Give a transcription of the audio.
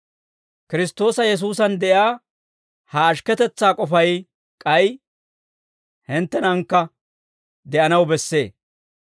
Kiristtoosa Yesuusan de'iyaa ha ashikketetsaa k'ofay k'ay hinttenankka de'anaw bessee.